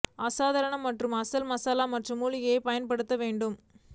அசாதாரண மற்றும் அசல் மசாலா மற்றும் மூலிகைகள் பயன்படுத்த வேண்டும்